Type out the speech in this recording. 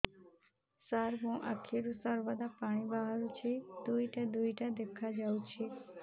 ସାର ମୋ ଆଖିରୁ ସର୍ବଦା ପାଣି ବାହାରୁଛି ଦୁଇଟା ଦୁଇଟା ଦେଖାଯାଉଛି